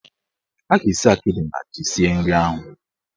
Ha ga-esi akịdị na ji sie nri ahụ.